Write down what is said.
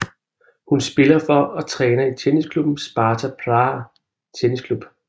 Hun spiller for og træner i tennisklubben Sparta Praha Tennis Club